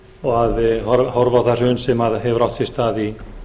og að horfa á það hrun sem hefur átt sér stað í